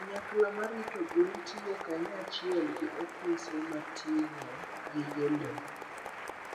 Kanyakla ma rito gwen tiyo kanyachiel gi ofise ma ting'o gige le.